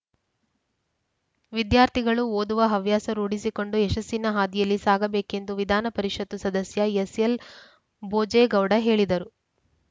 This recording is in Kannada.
ವಿದ್ಯಾರ್ಥಿಗಳು ಓದುವ ಹವ್ಯಾಸ ರೂಢಿಸಿಕೊಂಡು ಯಶಸ್ಸಿನ ಹಾದಿಯಲ್ಲಿ ಸಾಗಬೇಕೆಂದು ವಿಧಾನ ಪರಿಷತ್ತು ಸದಸ್ಯ ಎಸ್‌ಎಲ್‌ ಬೋಜೇಗೌಡ ಹೇಳಿದರು